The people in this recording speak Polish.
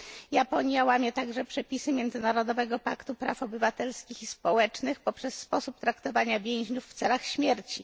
Japonia łamie też przepisy Międzynarodowego Paktu Praw Obywatelskich i Politycznych poprzez sposób traktowania więźniów w celach śmierci.